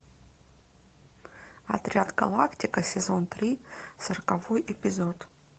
отряд галактика сезон три сороковой эпизод